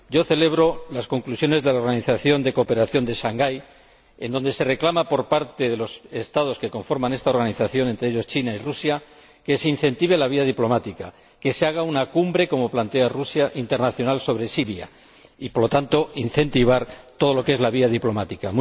Yo celebro las conclusiones de la Organización de Cooperación de Shanghai, en las que los Estados que conforman esta organización, entre ellos China y Rusia, reclaman que se incentive la vía diplomática, que se haga una cumbre ―como plantea Rusia― internacional sobre Siria y, por lo tanto, incentivar todo lo que es la vía diplomática.